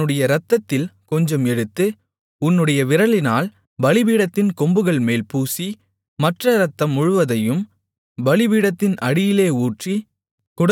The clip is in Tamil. அதனுடைய இரத்தத்தில் கொஞ்சம் எடுத்து உன்னுடைய விரலினால் பலிபீடத்தின் கொம்புகள்மேல் பூசி மற்ற இரத்தம் முழுவதையும் பலிபீடத்தின் அடியிலே ஊற்றி